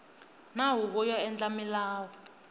na huvo yo endla milawu